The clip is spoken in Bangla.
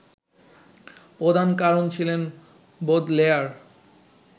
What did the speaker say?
প্রধান কারণ ছিলেন বোদলেয়ার